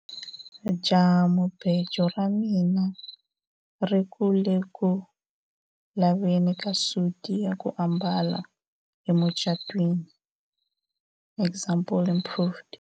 jahamubejo ra mina ri ku le ku laveni ka suti ya ku ambala emucatwiniexample improved